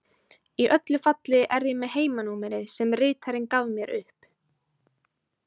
Í öllu falli er ég með heimanúmerið sem ritarinn gaf mér upp.